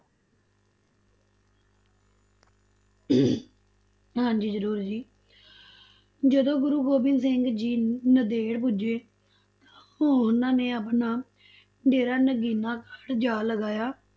ਹਾਂਜੀ ਜ਼ਰੂਰ ਜੀ ਜਦੋਂ ਗੁਰੂ ਗੋਬਿੰਦ ਸਿੰਘ ਜੀ ਨੰਦੇੜ ਪੁੱਜੇ ਤਾਂ ਉਨ੍ਹਾ ਨੇ ਆਪਣਾ ਡੇਰਾ ਨਗੀਨਾ ਘਾਟ ਜਾ ਲਗਾਇਆ।